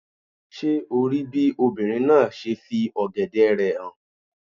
Ṣé o rí bí obìnrin náà ṣe fi ọ̀gẹ̀dẹ̀ rẹ̀ hàn